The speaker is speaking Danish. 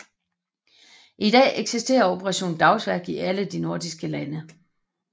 I dag eksisterer Operation Dagsværk i alle de nordiske lande